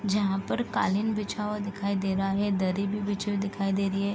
जहाँ पर कालीन बिछा हुआ दिखाई दे रहा है दरी भी बिछी हुई दिखाई दे रही है।